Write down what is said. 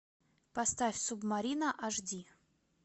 поставь субмарина аш ди